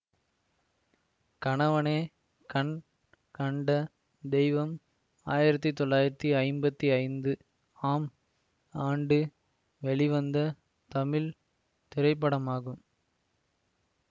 கணவனே கண் கண்ட தெய்வம் ஆயிரத்தி தொள்ளாயிரத்தி ஐம்பத்தி ஐந்து ஆம் ஆண்டு வெளிவந்த தமிழ் திரைப்படமாகும்